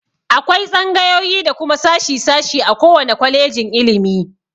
Akwai tsangayoyi da kuma sashi- sashi a ko wane kwalejin ilimi.